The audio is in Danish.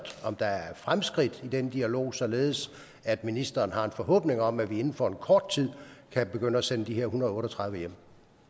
om der er fremskridt i den dialog således at ministeren har en forhåbning om at vi inden for kort tid kan begynde at sende de her en hundrede og otte og tredive hjem